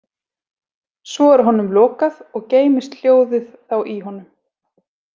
Svo er honum lokað og geymist hljóðið þá í honum.